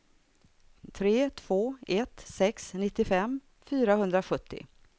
tre två ett sex nittiofem fyrahundrasjuttio